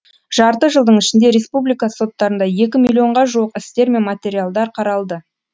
жарты жылдың ішінде республика соттарында екі миллионға жуық істер мен материалдар қаралды